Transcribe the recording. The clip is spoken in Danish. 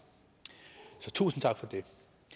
så tusind tak for det